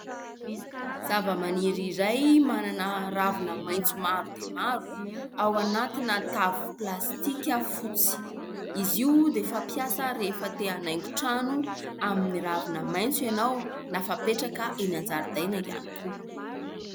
Zavamaniry iray manana ravina maitso maro dia maro, ao anatina tavy plastika fotsy, izy io dia fampiasa rehefa te hanaingo trano amin'ny ravina maitso ianao na fapetraka eny an-jaridaina ihany koa.